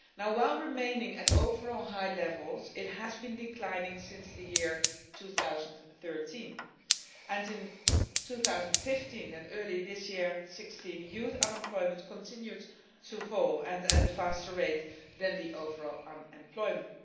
While remaining at overall high levels, it has been declining since the year 2013. In 2015 and early this year, 2016, youth unemployment continued to fall and at a faster rate than overall unemployment.